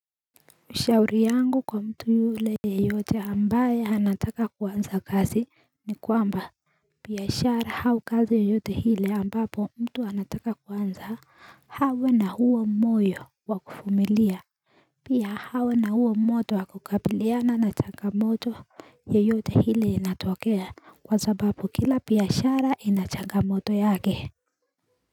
Ushauri yangu kwa mtu yule yeyote ambaye anataka kuanza kazi ni kwamba Piyashara hau kazi yoyote hile ambapo mtu anataka kuanza hawe na huo moyo wa kufumilia Pia hawe na huo moto wa kukabiliana na changamoto yeyote hile inatokea kwa sababu kila piyashara ina changamoto yake.